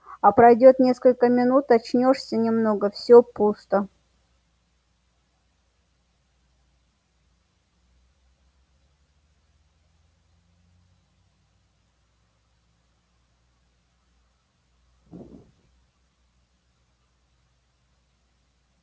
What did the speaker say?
а пройдёт несколько минут очнёшься немного всё пусто